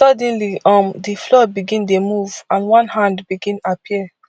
suddenly um di floor begin dey move and one hand bin appear